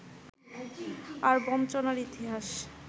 আর বঞ্চনার ইতিহাস